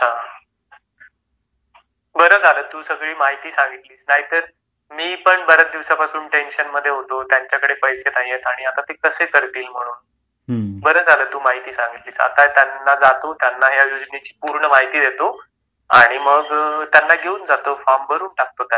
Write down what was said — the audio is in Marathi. बरं झाला तू सगळी माहिती सांगितली तर मी पण बरेच दिवसापासून टेन्शन मध्ये होतो त्याच्याकडे पैसे नाहीयेत आणि आता ते तसे करतील म्हणून बारा झाला तू माहिती सांगितली आता त्याना जातो त्यांना या योजनेची पूर्ण माहिती देतो आणि त्यांना घेऊन जातो फॉर्म भरून टाकतो त्यांचा पण म्हणजे ते पण याचा लाभ घेतील